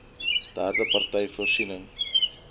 derde partye voorsien